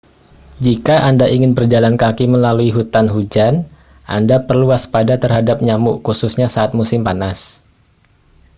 jika anda ingin berjalan kaki melalui hutan hujan anda perlu waspada terhadap nyamuk khususnya saat musim panas